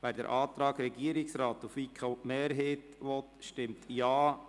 Wer den Antrag Regierungsrat/FiKo-Mehrheit annehmen will, stimmt Ja,